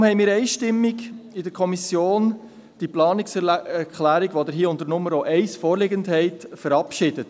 Deshalb haben wir in der Kommission die Planungserklärung, die Ihnen hier unter Nummer 1 vorliegt, einstimmig verabschiedet.